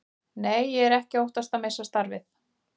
Nei, ég er ekki að óttast að missa starfið.